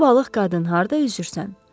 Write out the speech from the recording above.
Ulu balıq qadın harda üzürsən?